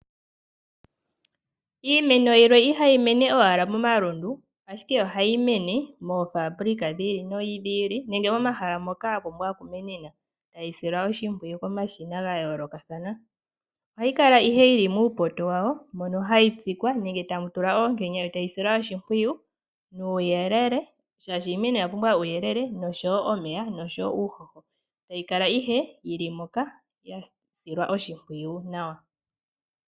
Iimeno yimwe ihayi mene owala momalundu. Ashike ohayi mene moofaabulika dhi ili nodhi ili nenge momahala moka yapumbwa okumenena tayi silwa oshimpwiyu komashina gayoolokathana. Ohayi kala ihe yili muupoto wawo mono hayi tsikwa nenge tamu tulwa oonkenya yo tayi silwa oshimpwiyu nuuyelele shaashi iimeno oya pumbwa uuyelele noshowo omeya nuuhoho etayi kala owala yili moka yasilwa oshimpwiyu nawa.